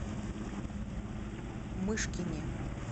мышкине